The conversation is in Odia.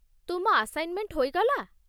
ତୁମ ଆସାଇନ୍‌ମେଣ୍ଟ ହୋଇଗଲା?